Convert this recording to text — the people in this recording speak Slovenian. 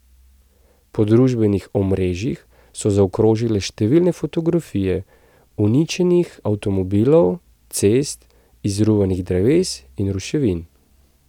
Po družbenih omrežjih so zaokrožile številne fotografije uničenih avtomobilov, cest, izruvanih dreves in ruševin.